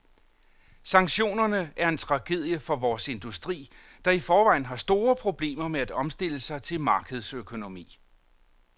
Sanktionerne er en tragedie for vores industri, der i forvejen har store problemer med at omstille sig til markedsøkonomi.